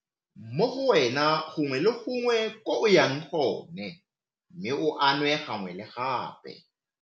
Mo go wena gongwe le gongwe ko o yang gone mme o a nwe gangwe le gape.